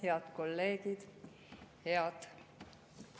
Head kolleegid!